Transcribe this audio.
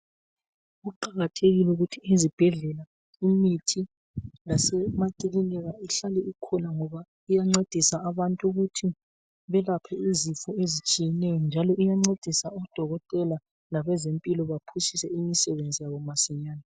Kuqakathekile ukuthi izibhedlela Imithi lasemaclinika ihlale ikhona ngoba iyancedisa abantu ukuthi belaphe izifo ezehlukeneyo njalo iyancedisa udokutela labezempilo baphushise imisebenzi yabo masinyane.